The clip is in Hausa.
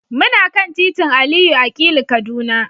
Muna kan titin Aliyu Akilu, Kaduna.